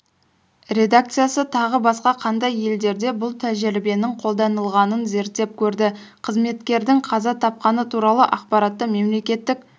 редакциясы тағы басқа қандай елдерде бұл тәжірибенің қолданылғанын зерттеп көрді қызметкердің қаза тапқаны туралы ақпаратты мемлекеттік